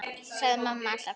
sagði mamma alltaf.